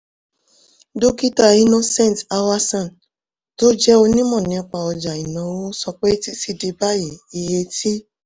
dókítà innocent awason tó jẹ́ onímọ̀ nípa ọjà ìnáwó sọ pé títí di báyìí iye tí